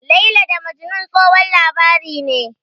"Laila da Majnun", tsohon labari ne.